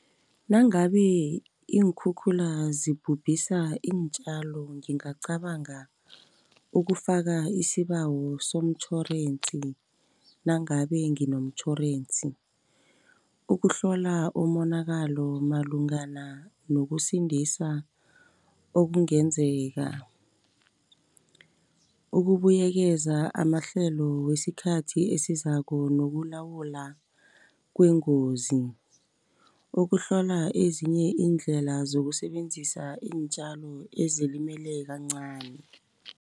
Nangabe iinkhukhula zibhubhisa iintjalo ngingacabanga ukufaka isibawo somtjhorensi, nangabe nginomtjhorensi. Ukuhlola umonakalo malungana nokusindisa okungenzeka. Ukubuyekeza amahlelo wesikhathi esizako nokulawula kwengozi. Ukuhlola ezinye iindlela zokusebenzisa iintjalo ezilimele kancani.